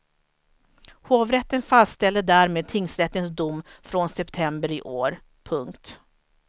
Hovrätten fastställde därmed tingsrättens dom från september i år. punkt